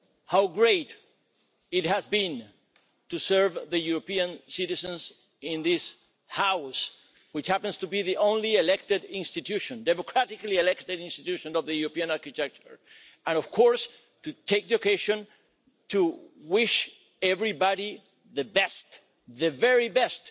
how great it has been to serve the European citizens in this House, which happens to be the only democratically elected institution of the European architecture, and of course to take the occasion to wish everybody the very best,